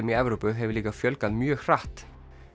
í Evrópu hefur líka fjölgað mjög hratt